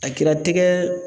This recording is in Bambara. A kɛra tɛgɛ